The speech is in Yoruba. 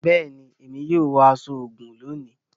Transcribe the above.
Béèni, Èmí yóò wọ aṣọ ogún lóni